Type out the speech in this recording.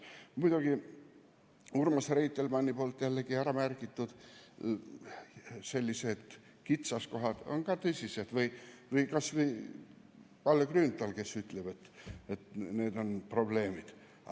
Muidugi, sellised kitsaskohad, mida märkis ära Urmas Reitelmann või kas või need probleemid, mida mainis Kalle Grünthal, on ka tõsised.